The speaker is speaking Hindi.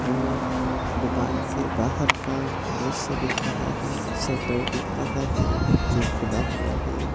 मे दुकान से बाहर का दृश्य दिख रहा है शटर दिख रहा है जो खुला हुआ है।